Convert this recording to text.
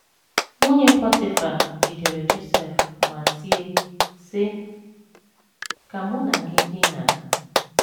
Nwunye Pọtịfa jidere Josef ma tie, sị: “ Ka mụ na gị dinaa. ”